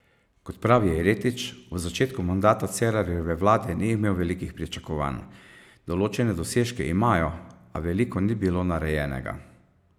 Kot pravi Jeretič, ob začetku mandata Cerarjeve vlade ni imel velikih pričakovanj: "Določene dosežke imajo, a veliko ni bilo narejenega.